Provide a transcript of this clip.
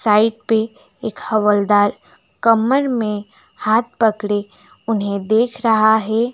Side पे एक हवलदार कमर में हाथ पकड़े उन्हें देख रहा है।